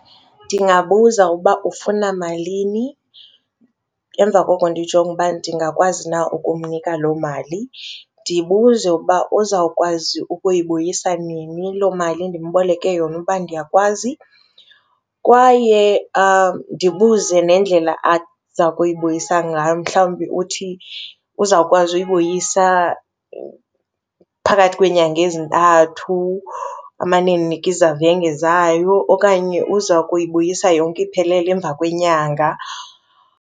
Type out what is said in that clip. Ndingabuza ukuba ufuna malini, emva koko ndijonge uba ndingakwazi na ukumnika loo mali. Ndibuze ukuba uzawukwazi ukuyibuyisa nini loo mali ndimboleke yona uba ndiyakwazi kwaye ndibuze nendlela azakuyibuyisa ngayo. Mhlawumbi uthi uzawukwazi uyibuyisa phakathi kweenyanga ezintathu amane endinika izavenge zayo okanye uza kuyibuyisa yonke iphelele emva kwenyanga.